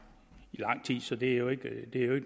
i lang tid så det er jo ikke